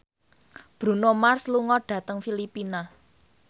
Bruno Mars lunga dhateng Filipina